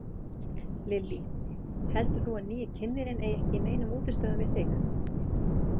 Lillý: Heldur þú að nýi kynnirinn eigi ekki í neinum útistöðum við þig?